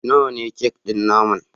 Nawa ne kek ɗin naman